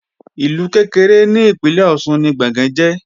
Ìlú kékeré ni ìpínlè Ọ̀ṣun ni Gbọ̀ngán jẹ́